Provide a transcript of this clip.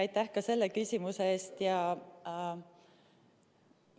Aitäh ka selle küsimuse eest!